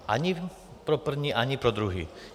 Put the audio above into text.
Ani pro první, ani pro druhý.